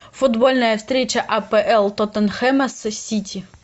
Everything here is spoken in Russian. футбольная встреча апл тоттенхэма с сити